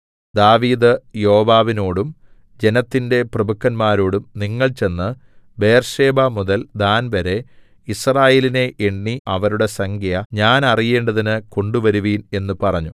ദാവീദ് യോവാബിനോടും ജനത്തിന്റെ പ്രഭുക്കന്മാരോടും നിങ്ങൾ ചെന്ന് ബേർശേബമുതൽ ദാൻവരെ യിസ്രായേലിനെ എണ്ണി അവരുടെ സംഖ്യ ഞാൻ അറിയേണ്ടതിന് കൊണ്ടുവരുവിൻ എന്നു പറഞ്ഞു